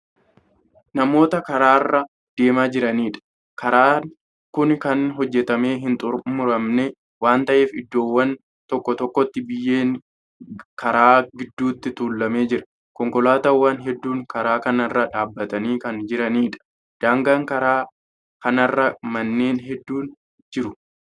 Namoota karaarra adeemaa jiraniidha. karaan Kuni Kan hojjatamee hin xumuramne waan ta'eef iddoowwan tokko tokkotti biyyeen karaa gidduutti tuulamee jira. konkolaataawwan hedduun karaa kanarra dhaabatanii Kan jiraniidha. daangaa karaa kanarra manneen hudduun jiru.